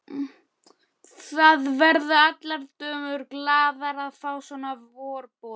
Það verða allar dömur glaðar að fá svona vorboð.